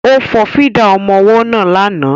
Ó fọ fídà ọmọ ọwọ́ náà lánàá